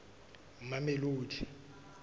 mamelodi